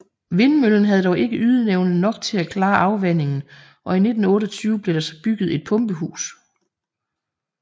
Vindmøllen havde dog ikke ydeevne nok til at klare afvandingen og i 1928 blev der så bygget et pumpehus